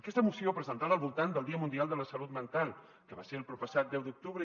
aquesta moció presentada al voltant del dia mundial de la salut mental que va ser el proppassat deu d’octubre